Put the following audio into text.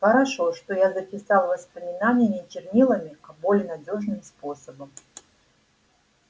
хорошо что я записал воспоминания не чернилами а более надёжным способом